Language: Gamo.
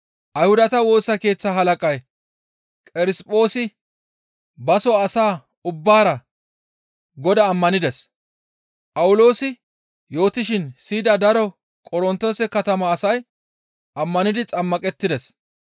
Ayhudata Woosa Keeththa halaqay Qerisphoosi baso asa ubbaara Godaa ammanides; Phawuloosi yootishin siyida daro Qorontoose katama asay ammanidi xammaqettides.